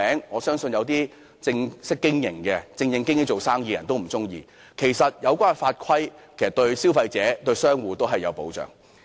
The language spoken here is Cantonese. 我相信經營正當生意的人都不會喜歡，其實有關的法規對消費者及商戶都有保障。